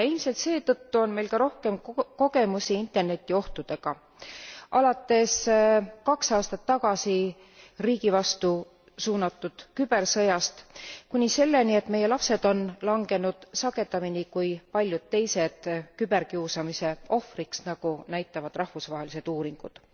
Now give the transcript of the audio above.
Ja ilmselt seetõttu on meil ka rohkem kogemusi Interneti ohtudega, alates kaks aastat tagasi riigi vastu suunatud kübersõjast, kuni selleni, et meie lapsed on langenud sagedamini kui paljud teised küberkiusamise ohvriks, nagu näitavad rahvusvahelised uuringud.